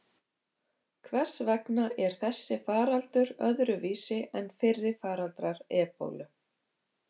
Hvers vegna er þessi faraldur öðruvísi en fyrri faraldrar ebólu?